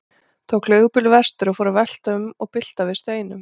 Tók leigubíl vestur og fór að velta um og bylta við steinum.